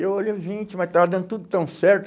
E eu olhei, gente, mas estava dando tudo tão certo.